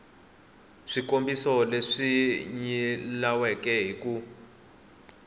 swikombiso leswi nyilaweke hi ku